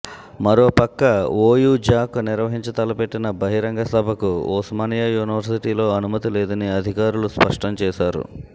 మరో పక్క OU JAC నిర్వహించతలపెట్టిన బహిరంగ సభకు ఉస్మానియా యూనివర్శిటీలో అనుమతి లేదని అధికారులు స్పష్టం చేశారు